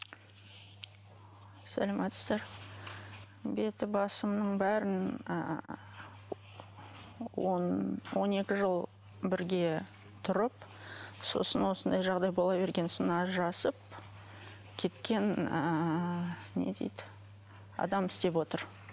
сәлеметсіздер беті басымның бәрін ыыы он он екі жыл бірге тұрып сосын осындай жағдай бола берген соң ажырасып кеткен ыыы не дейді адам істеп отыр